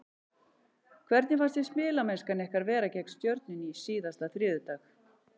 Hvernig fannst þér spilamennskan ykkar vera gegn Stjörnunni síðasta þriðjudag?